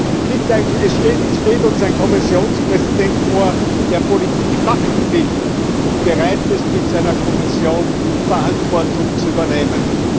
Es steht uns ein Kommissionspräsident gegenüber, der Politik machen will und bereit ist, mit seiner Kommission Verantwortung zu übernehmen.